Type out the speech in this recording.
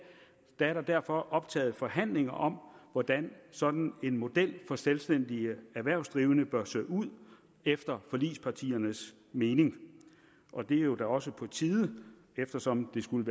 er der derfor optaget forhandlinger om hvordan sådan en model for selvstændige erhvervsdrivende bør se ud efter forligspartiernes mening og det er jo da også på tide eftersom det skulle